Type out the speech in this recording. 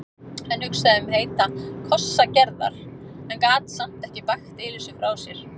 Hann hugsaði um heita kossa Gerðar en gat samt ekki bægt Elísu frá sér.